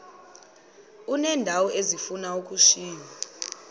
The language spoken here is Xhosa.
uneendawo ezifuna ukushiywa